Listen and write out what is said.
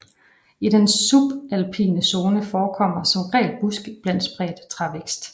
I den subalpine zone forekommer som regel buske iblandet spredt trævækst